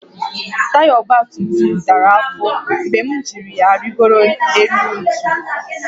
Taya ọgba tum tum dara afọ mgbe m jì ya rịgoro élú ntu